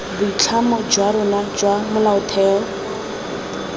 boitlamo jwa rona jwa molaotheo